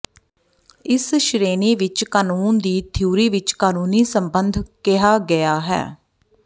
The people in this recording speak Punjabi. ਇਸ ਸ਼੍ਰੇਣੀ ਵਿੱਚ ਕਾਨੂੰਨ ਦੀ ਥਿਊਰੀ ਵਿਚ ਕਾਨੂੰਨੀ ਸੰਬੰਧ ਕਿਹਾ ਗਿਆ ਹੈ